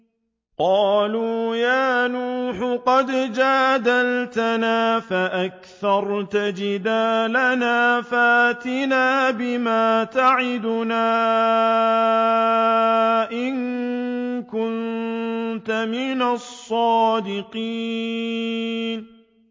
قَالُوا يَا نُوحُ قَدْ جَادَلْتَنَا فَأَكْثَرْتَ جِدَالَنَا فَأْتِنَا بِمَا تَعِدُنَا إِن كُنتَ مِنَ الصَّادِقِينَ